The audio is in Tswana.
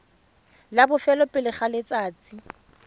la bofelo pele ga letsatsi